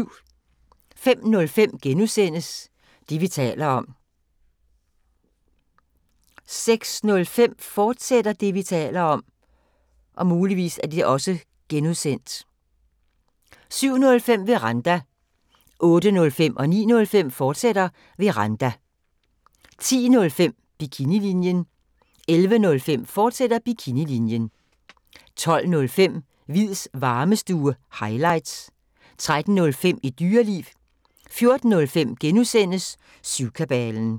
05:05: Det, vi taler om * 06:05: Det, vi taler om (G), fortsat 07:05: Veranda 08:05: Veranda, fortsat 09:05: Veranda, fortsat 10:05: Bikinilinjen 11:05: Bikinilinjen, fortsat 12:05: Hviids Varmestue – highlights 13:05: Et Dyreliv 14:05: Syvkabalen *